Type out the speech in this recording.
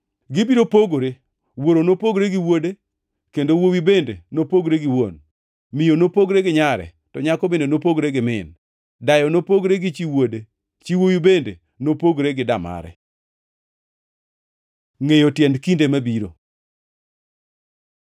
Gibiro pogore, wuoro nopogre gi wuode kendo wuowi bende nopogre gi wuon, miyo nopogre gi nyare to nyako bende nopogre gi min, dayo nopogre gi chi wuode, chi wuowi bende nopogre gi damare.” Ngʼeyo tiend kinde mabiro